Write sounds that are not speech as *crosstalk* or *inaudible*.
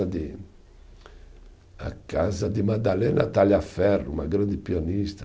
*unintelligible* A casa de Madalena Tagliaferro, uma grande pianista.